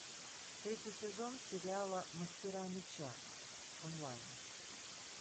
третий сезон сериала мастера меча онлайн